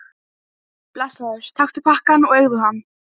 En formaðurinn ákvað að láta beita strax þennan sama dag.